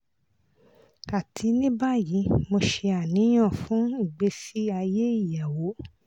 ati ni bayi mo ṣe aniyan fun igbesi aye iyawo